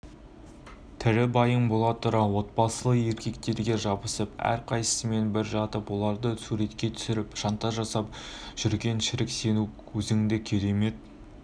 тірі байың бола тұра отбасылы еркектерге жабысып рқайсымен бір жатып оларды суретке түсіріп шантаж жасап жүрген шірік сен өзіңді керемет